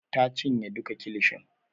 Ta cinye duka kilishin.